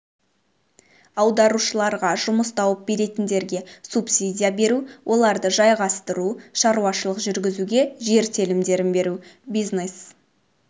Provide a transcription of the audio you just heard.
аударушыларға жұмыс тауып беретіндерге субсидия беру оларды жайғастыру шаруашылық жүргізуге жер телімдерін беру бизнес